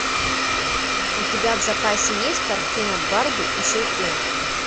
у тебя в запасе есть картина барби и щелкунчик